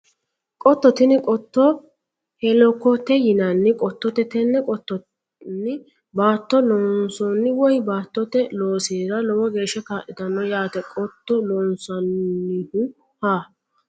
Qotto tini qotto helakkote yinanni qottooti tenne qottonni baattote loosinanni woye baattote loosira lowo geeshsha kaa'litano yaate qoto loonsannihu ha